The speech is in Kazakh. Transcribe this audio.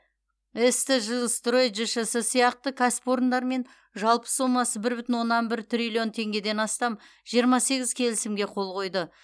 ст жилстрой жшс сияқты кәсіпорындармен жалпы сомасы бір бүтін оннан бір триллион теңгеден астам жиырма сегіз келісімге қол қойды